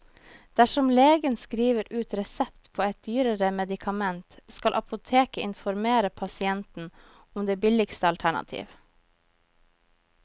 Dersom legen skriver ut resept på et dyrere medikament, skal apoteket informere pasienten om det billigste alternativ.